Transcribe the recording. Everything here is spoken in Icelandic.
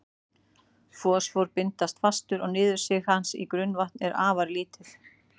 Fosfór binst fastur og niðursig hans í grunnvatn er afar lítið.